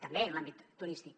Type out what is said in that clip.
també en l’àmbit turístic